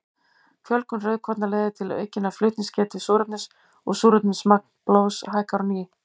Fjölgun rauðkorna leiðir til aukinnar flutningsgetu súrefnis og súrefnismagn blóðs hækkar á ný.